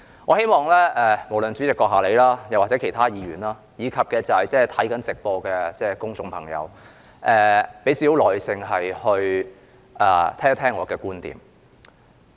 我希望不論主席閣下或其他議員，以及正在收看會議直播的公眾朋友，都給予少許耐性聽聽我的觀點。